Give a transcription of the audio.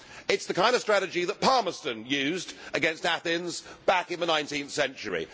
It is the kind of strategy that Palmerston used against Athens back in the 19th century.